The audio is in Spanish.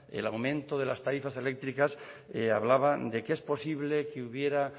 el aumento de las tarifas eléctricas hablaba de que es posible que hubiera